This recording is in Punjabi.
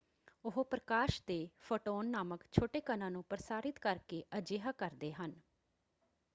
ਉਹ ਪ੍ਰਕਾਸ਼ ਦੇ ਫੋਟੋਨ ਨਾਮਕ ਛੋਟੇ ਕਣਾਂ ਨੂੰ ਪ੍ਰਸਾਰਿਤ ਕਰਕੇ ਅਜਿਹਾ ਕਰਦੇ ਹਨ।